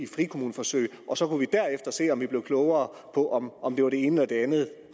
frikommuneforsøg og så kunne vi derefter se om vi blev klogere på om om det var det ene eller det andet